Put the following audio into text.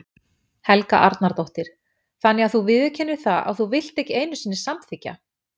Helga Arnardóttir: Þannig að þú viðurkennir það að þú vilt ekki einu sinni samþykkja?